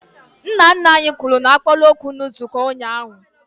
Nna nna anyị kwuru n'akpaala okwu na nzukọ ụnyaahụ